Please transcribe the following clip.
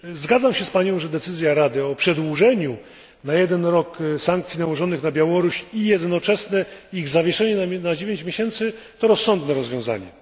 Zgadzam się z Panią, że decyzja Rady o przedłużeniu na jeden rok sankcji nałożonych na Białoruś i jednoczesne ich zawieszenie na dziewięć miesięcy to rozsądne rozwiązanie.